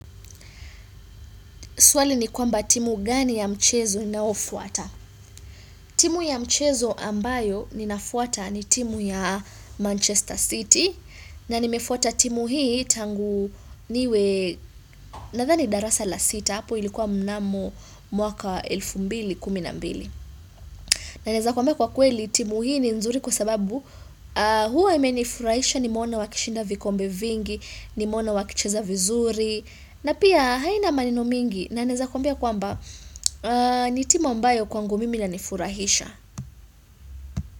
Swali ni kwamba timu gani ya mchezo nayo fuata. Timu ya mchezo ambayo ninafuata ni timu ya Manchester City. Na nimefuata timu hii tangu niwe nadhani darasa la sita. Hapo ilikuwa mnamo mwaka 2012. Na naweza kwambia kwa kweli timu hii ni nzuri kwa sababu huwa imenifuraisha nimeona wakishinda vikombe vingi, nimeona wakicheza vizuri. Na pia haina maneno mingi. Na naweza kuambia kwamba ni timu ambayo kwangu mimi ina nifurahisha.